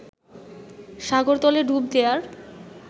সাগরতলে ডুব দেওয়ার